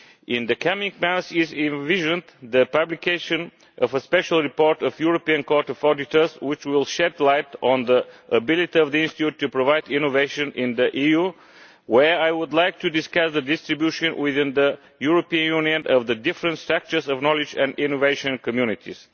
In the coming months we envisage the publication of a special report of the European Court of Auditors which will shed light on the ability of the institute to provide innovation in the EU, where I would like to discuss the distribution within the European Union of the different sectors of knowledge and innovation communities.